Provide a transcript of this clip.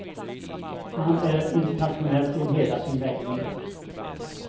Han är internationell till hela sin läggning.